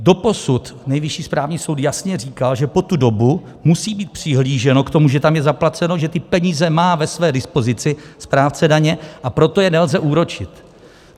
Doposud Nejvyšší správní soud jasně říkal, že po tu dobu musí být přihlíženo k tomu, že tam je zaplaceno, že ty peníze má ve své dispozici správce daně, a proto je nelze úročit.